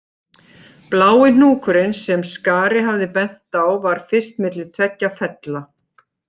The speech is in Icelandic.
Blái hnúkurinn sem Skari hafði bent á var fyrst milli tveggja fella